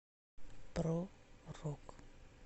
про рок